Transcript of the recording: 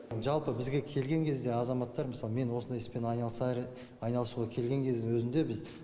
жалпы бізге келген кезде азаматтар мысалы мен осындай іспен айналысуға келген кездің өзінде біз